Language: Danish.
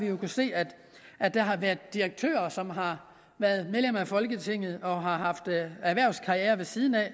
jo kunnet se at at der har været direktører som har været medlemmer af folketinget og har haft erhvervskarrierer ved siden af